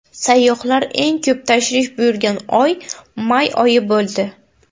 Sayyohlar eng ko‘p tashrif buyurgan oy may oyi bo‘ldi.